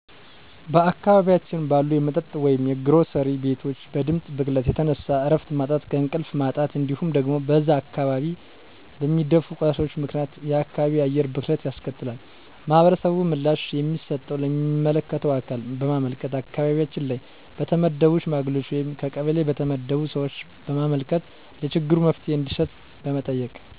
በአካባቢያችን ባሉ የመጠጥ ወይም የግሮሰሪ ቤቶች በድምጽ ብክለት የተነሳ እረፍት ማጣት እንቅልፍ ማጣት እንዲሁም ደግሞ በዛ አካባቢ በሚደፉ ቆሻሻዎች ምክንያት የአካባቢ አየር ብክለት ያስከትላል። ህብረተሰቡ ምላሽ የሚሰጠው ለሚመለከተው አካል በማመልከት አካባቢያችን ላይ በተመደቡ ሽማግሌዎች ወይም ከቀበሌ በተመደቡ ሰዎች በማመልከት ለችግሩ መፍትሄ እንዲሰጥ በመጠየቅ